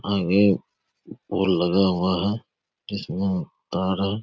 और एक पुल लगा हुआ है जिसमें तार अ --